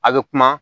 A bɛ kuma